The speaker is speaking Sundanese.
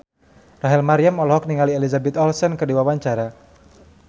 Rachel Maryam olohok ningali Elizabeth Olsen keur diwawancara